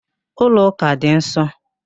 Ụlọ ụka dị nsọ